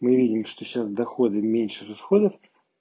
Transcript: мы видим что сейчас доходы меньше расходов